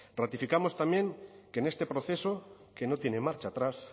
ratificamos también que en este proceso que no tiene marcha atrás